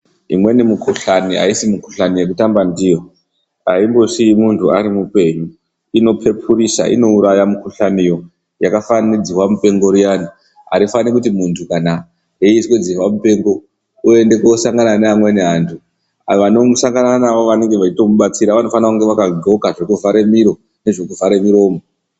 Imweni mikhuhlaani aisi mikhuhlani yekutamba ndiyo aindosiyi muntu ari mupe yu inpepurusa inouraya mukhuhlaniyo yakafanana nedzihwa mupengo riyani arifani kuti muntu kana eizwe dzihwa mupengo oende kosangane nevanweni vantu avo vanosangane naye vanenga vachimubatsira vanofanonge vakadxoka zvekuvhare miro nezvekuvhare miromo.